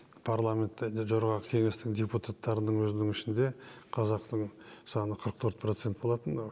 парламенттегі жоғарғы кеңестің депутаттарының өзінің ішінде қазақтың саны қырық төрт процент болатын